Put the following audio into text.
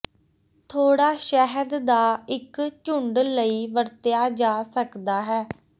ਥੋੜਾ ਸ਼ਹਿਦ ਦਾ ਇੱਕ ਝੁੰਡ ਲਈ ਵਰਤਿਆ ਜਾ ਸਕਦਾ ਹੈ